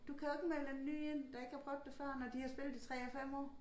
Du kan jo ikke melde en ny ind der ikke har prøvet det før når de har spillet i 3 og 5 år